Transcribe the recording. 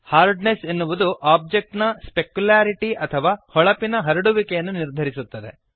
hardness ಎನ್ನುವುದು object ನ specularity ಅಥವಾ ಹೊಳಪಿನ ಹರಡುವಿಕೆಯನ್ನು ನಿರ್ಧರಿಸುತ್ತದೆ